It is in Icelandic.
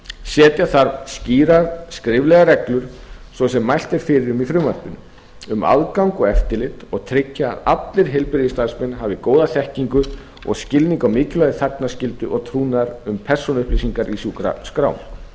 setja þarf skýrar skriflegar reglur svo sem mælt er fyrir um í frumvarpinu um aðgang og eftirlit og tryggja að allir heilbrigðisstarfsmenn hafi góða þekkingu og skilning á mikilvægi þagnarskyldu og trúnaðar um persónuupplýsingar í sjúkraskrám